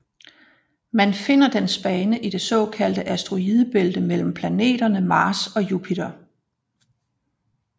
Man finder dens bane i det såkaldte asteroidebælte mellem planeterne Mars og Jupiter